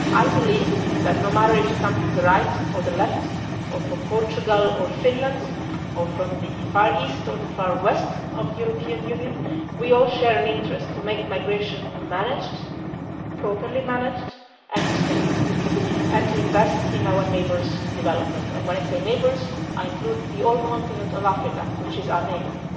I believe that no matter if you come from the right or the left, from Portugal or Finland, or from the far East or the far West of the European Union, we all share an interest to make migration managed, properly managed and sustainable, and to invest in our neighbours' development, and when I say neighbours I include the whole continent of Africa which is our neighbour.